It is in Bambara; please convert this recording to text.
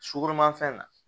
Sukoromafɛn na